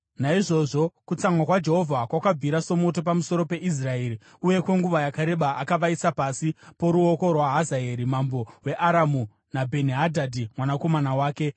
Naizvozvo kutsamwa kwaJehovha kwakabvira somoto pamusoro peIsraeri, uye kwenguva yakareba akavaisa pasi poruoko rwaHazaeri mambo weAramu naBheni-Hadhadhi mwanakomana wake.